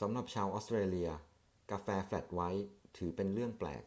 สำหรับชาวออสเตรเลีย กาแฟ 'แฟลตไวท์' ถือเป็นเรื่องแปลก